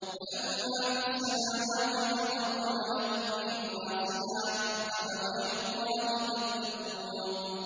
وَلَهُ مَا فِي السَّمَاوَاتِ وَالْأَرْضِ وَلَهُ الدِّينُ وَاصِبًا ۚ أَفَغَيْرَ اللَّهِ تَتَّقُونَ